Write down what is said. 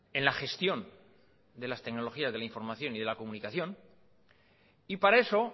en la gestión de las tecnologías de la información y la comunicación y para eso